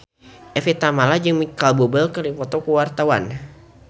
Evie Tamala jeung Micheal Bubble keur dipoto ku wartawan